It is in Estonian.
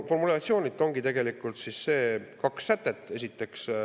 Formulatsioonilt ongi siis tegelikult kaks sätet.